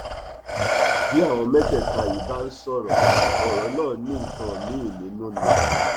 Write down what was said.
bí àwọn mẹtẹẹta yìí bá ń sọrọ ọrọ náà ní nǹkan míín nínú ni